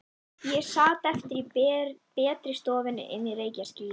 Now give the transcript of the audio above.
Ég sat eftir í betri stofunni inni í reykjarskýi.